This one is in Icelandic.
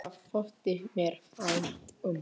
Það þótti mér vænt um